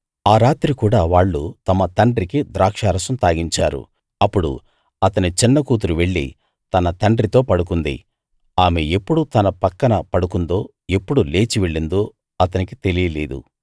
ఆ రాత్రి కూడా వాళ్ళు తమ తండ్రికి ద్రాక్షారసం తాగించారు అప్పుడు అతని చిన్న కూతురు వెళ్ళి తన తండ్రితో పడుకుంది ఆమె ఎప్పుడు తన పక్కన పడుకుందో ఎప్పుడు లేచి వెళ్ళిందో అతనికి తెలియలేదు